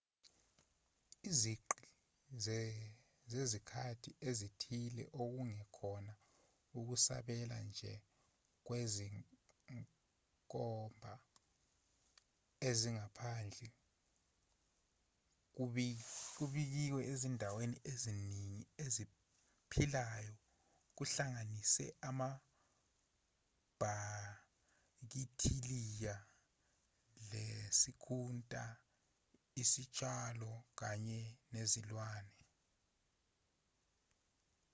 izigqi zezikhathi ezithile okungekhona ukusabela nje kwezinkomba ezingaphandle kubikiwe ezidalweni eziningi eziphilayo kuhlanganise amabhakithiliya isikhunta izitshalo kanye nezilwane